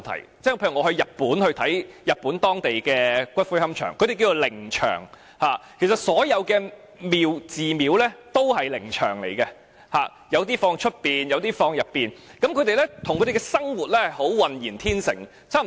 我曾到訪日本的龕場，他們稱為靈場，所有寺廟均為靈場，有些擺放在外面，有些則放在裏面，與他們的生活可謂渾然天成。